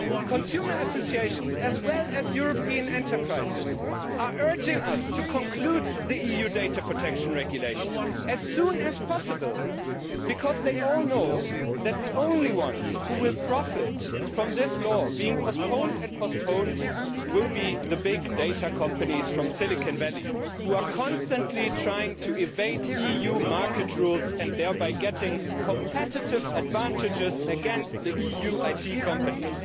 Consumer associations, as well as European enterprises, are urging us to conclude the EU Data Protection Regulation as soon as possible, because they all know that the only ones who will profit from this law being postponed again and again will be the big data companies from Silicon Valley, who are constantly trying to evade EU market rules, thereby gaining competitive advantages against the EU's IT companies.